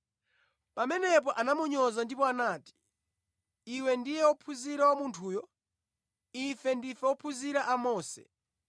Pamenepo anamunyoza ndipo anati, “Iwe ndiye ophunzira wa munthuyu! Ife ndife ophunzira a Mose!